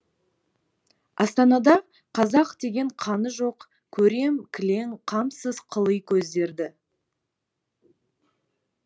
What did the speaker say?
астанада қазақ деген қаны жоқ көрем кілең қамсыз қыли көздерді